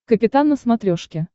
капитан на смотрешке